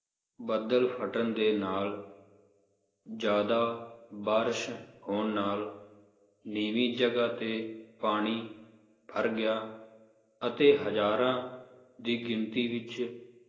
ਬੱਦਲ ਫਟਣ ਦੇ ਨਾਲ ਜ਼ਿਆਦਾ ਬਾਰਸ਼ ਹੋਣ ਨਾਲ ਨੀਵੀ ਜਗਾਹ ਤੇ ਪਾਣੀ ਭੱਰ ਗਿਆ ਅਤੇ ਹਜ਼ਾਰਾਂ ਦੀ ਗਿਣਤੀ ਵਿਚ